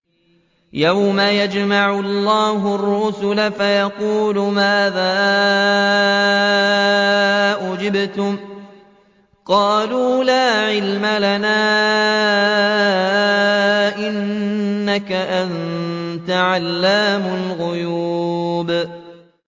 ۞ يَوْمَ يَجْمَعُ اللَّهُ الرُّسُلَ فَيَقُولُ مَاذَا أُجِبْتُمْ ۖ قَالُوا لَا عِلْمَ لَنَا ۖ إِنَّكَ أَنتَ عَلَّامُ الْغُيُوبِ